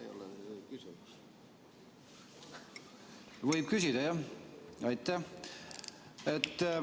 Aitäh!